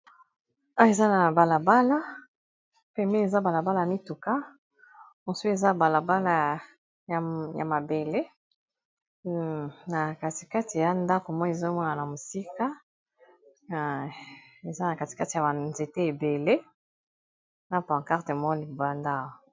eza na balabala pebeni eza balabala mituka mosu eza balabala ya mabele na katikati ya ndako moi ezomona na mosika eza na katikati ya banzete ebele na pancarge moko libanda